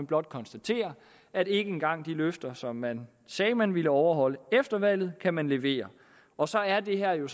blot konstatere at ikke engang de løfter som man sagde man ville overholde efter valget kan man levere og så er det her jo